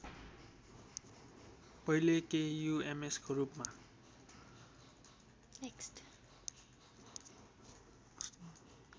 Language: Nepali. पहिले केयुएमएसको रूपमा